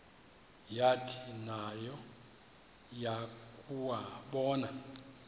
yathi nayo yakuwabona